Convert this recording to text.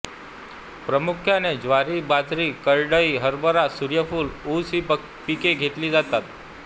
प्रामुख्याने ज्वारी बाजरी करडई हरभरा सूर्यफूल ऊस ही पिके घेतली जातात